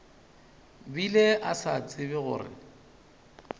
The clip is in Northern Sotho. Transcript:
bile a sa tsebe gore